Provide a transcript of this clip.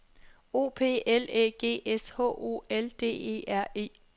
O P L Æ G S H O L D E R E